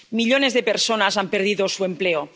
Millones de personas han perdido su empleo.